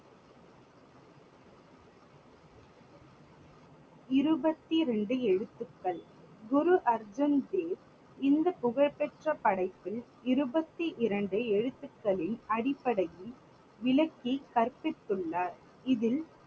இருபத்திரெண்டு எழுத்துகள். குரு அர்ஜுன் தேவ் இந்த புகழ் பெற்ற படைப்பில் இருபத்தி இரண்டு எழுத்துக்களின் அடிப்படையில் விளக்கி கற்பித்துள்ளார். இதில்